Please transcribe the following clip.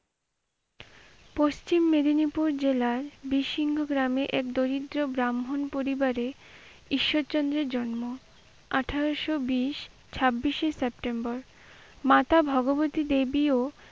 পশ্চিম মেদিনীপুর জেলার বিসীর্ণ গ্রামে এক দরিদ্র পরিবারে ঈশ্বরচন্দ্রের জন্ম। আঠারোশো বিশ, ছাব্বিশে september মাতা ভগবতী দেবীও,